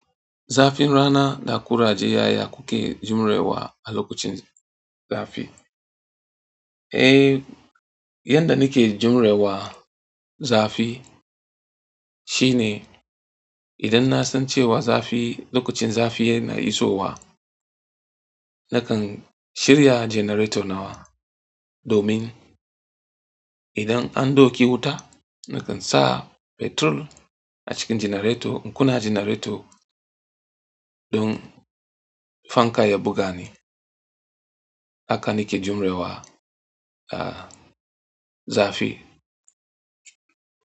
Zafin rana na ƙuraje ya ya kuke. Jure wa a lokacin zafi. Eh, yanda nake jure wa zafi shine idan na san cewa zafi lokacin zafi yana isowa, nakan shirya janareto nawa domin idan an ɗauke wuta nakan sa fetur a cikin janareto in kuna janareto don fanka ya buga ni. Haka nake jure wa, ah, zafi.